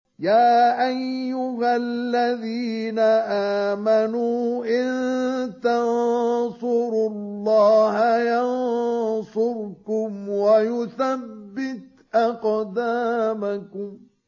يَا أَيُّهَا الَّذِينَ آمَنُوا إِن تَنصُرُوا اللَّهَ يَنصُرْكُمْ وَيُثَبِّتْ أَقْدَامَكُمْ